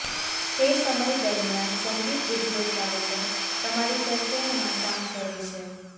તે સમય દરમિયાન સંગીત ઉદ્યોગ કૅલેન્ડર તમારી તરફેણમાં કામ કરે છે